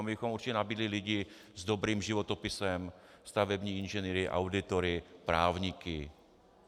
A my bychom určitě nabídli lidi s dobrým životopisem, stavební inženýry, auditory, právníky.